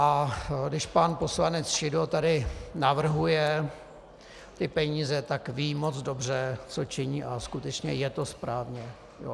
A když pan poslanec Šidlo tady navrhuje ty peníze, tak ví moc dobře, co činí, a skutečně je to správně.